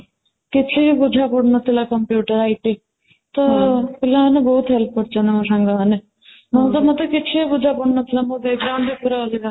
କିଛି ବୁଝା ପଡୁନଥିଲା computer IT ତ ପିଲାମାନେ ବହୁତ help କରିଛନ୍ତି ମୋ ସାଙ୍ଗମାନନେ ମୁଁ ମୁଁ ତ ମୋତେ କିଛି ବୁଝା ପଡୁନଥିଲା ମୋ back ground ରେ ପୁରା ଅଧିକା